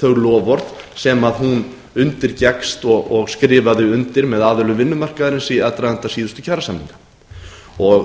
þau loforð sem hún undirgekkst og skrifaði undir með aðilum vinnumarkaðarins í aðdraganda síðustu kjarasamninga